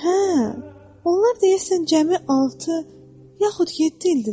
Hə, onlar deyəsən cəmi altı yaxud yeddidir.